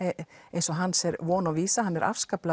eins og hans er von og vísa hann er